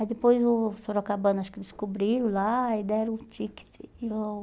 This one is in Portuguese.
Aí depois o Sorocabana, acho que descobriram lá e deram o ticket e eu...